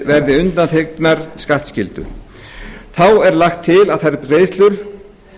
verði undanþegnar skattskyldu þá er lagt til að þær greiðslur